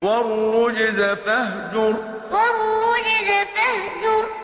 وَالرُّجْزَ فَاهْجُرْ وَالرُّجْزَ فَاهْجُرْ